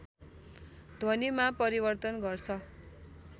ध्वनिमा परिवर्तन गर्छ